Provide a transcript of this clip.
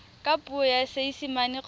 ka puo ya seesimane kgotsa